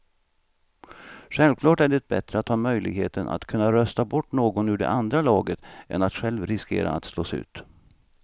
Självklart är det bättre att ha möjligheten att kunna rösta bort någon ur det andra laget än att själv riskera att slås ut.